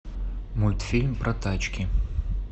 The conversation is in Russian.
мультфильм про тачки